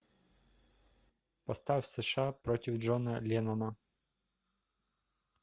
поставь сша против джона леннона